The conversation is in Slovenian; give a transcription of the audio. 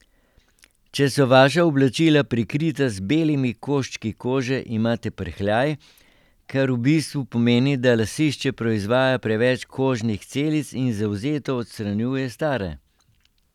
Če so vaša oblačila prekrita z belimi koščki kože, imate prhljaj, kar v bistvu pomeni, da lasišče proizvaja preveč kožnih celic in zavzeto odstranjuje stare.